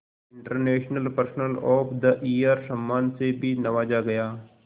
international person of the year सम्मान से भी नवाजा गया